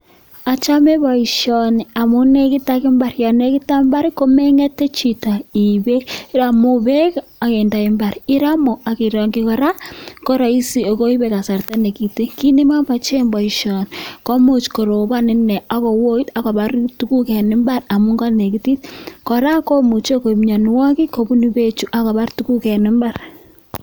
Ochome boishoni amun nekit ak imbar, yoon nekit ak imbar komengete Chito iib beek, iromu beek ak indoi imbar, iromu ak irongyi kora koroisi ak koibe kasarta nekiten, kiit nemomochen boishoni komuch korobon inee ak kowoit ak kobar tukuk en imbar amun konekitit, kora komuche koib mionwokik kobunu bechu ak kobar tukuk en imbar.